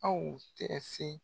Aw tɛ se